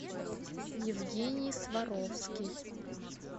евгений сваровский